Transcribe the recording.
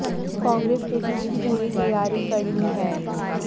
कांग्रेस ने भी इसकी पूरी तैयारी कर ली है